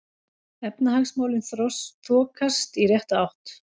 Efnahagsmálin þokast í rétta átt